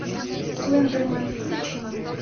слендермен включи мне